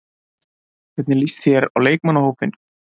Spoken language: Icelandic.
Hvernig lýst þér á leikmannahópinn?